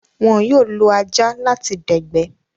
Wón yóò lo ajá láti dẹ̀gbẹ́